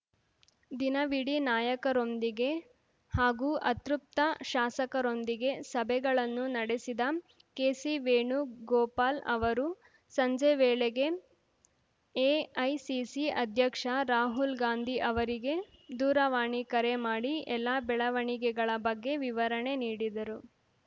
ದಿನವಿಡೀ ನಾಯಕರೊಂದಿಗೆ ಹಾಗೂ ಅತೃಪ್ತ ಶಾಸಕರೊಂದಿಗೆ ಸಭೆಗಳನ್ನು ನಡೆಸಿದ ಕೆಸಿ ವೇಣುಗೋಪಾಲ್‌ ಅವರು ಸಂಜೆ ವೇಳೆಗೆ ಎಐಸಿಸಿ ಅಧ್ಯಕ್ಷ ರಾಹುಲ್‌ ಗಾಂಧಿ ಅವರಿಗೆ ದೂರವಾಣಿ ಕರೆ ಮಾಡಿ ಎಲ್ಲಾ ಬೆಳವಣಿಗೆಗಳ ಬಗ್ಗೆ ವಿವರಣೆ ನೀಡಿದರು